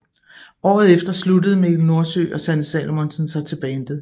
Året efter sluttede Mikkel Nordsø og Sanne Salomonsen sig til Bandet